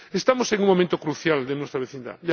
Estamos en un momento crucial de nuestra vecindad.